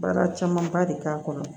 Baara camanba de k'a kɔnɔ